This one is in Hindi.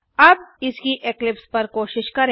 अब इसकी इक्लिप्स पर कोशिश करें